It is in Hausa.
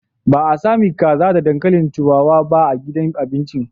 Ba a sami kaza da dankalin turawa ba a gidan abincin.